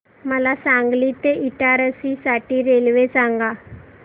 मला सांगली ते इटारसी साठी रेल्वे सांगा